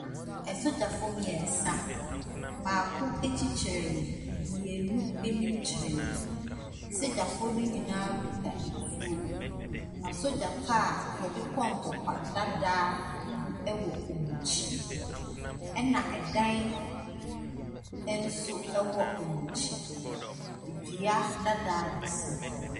Asogyafoɔ mmeɛnsa, baako akyi kyerɛ kyerɛ me. Mmienu anim kyerɛ me. Asogyafoɔ no nyinaa kuta etuo. Na sogya car a wɔde kɔ ntɔkwa dada bi wɔ wɔn akyi, ɛna ɛdan nso wɔ wɔn akyi. Dua dada bi si hɔ.